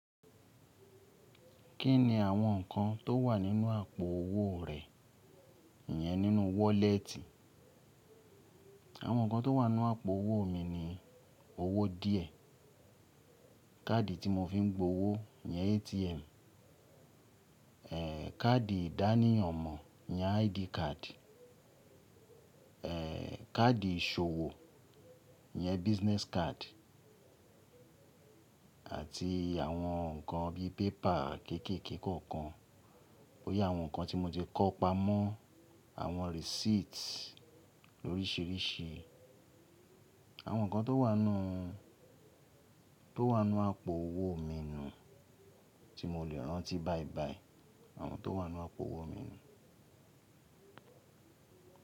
Kí ni àwọn nǹkan tó wà nínú àpò owó rẹ, ìyẹn nínú wọ́lẹ́tì? Àwọn nǹkan tó wà nínú àpò owó mi ni owó díẹ̀, káàdì tí mo fi ń gbowó, ìyẹn ATM, ẹ́ káàdì ìdánìyan ọmọ, ìyẹn ID card, ẹ́ káàdì ìṣòwò, ìyẹn business card àti àwọn nǹkan bí i pépà kéékèèké kọ̀ọ̀kan bóyá àwọn nǹkan tí mo ti kó pamọ́, àwọn receipts oríṣìíríṣìí. Àwọn nǹkan tó wà nú, tó wà nú àpò owó mi ni tí mo lè rántí báyìí báyìí, àwọn tó wà nínú àpò owó mi ni.